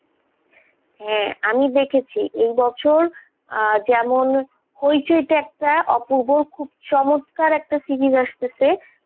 হ্যাঁ আমি দেখেছি এই বছর আহ যেমন হইচইতে একটা অপূর্ব খুব চমৎকার একটা series আসতেছে.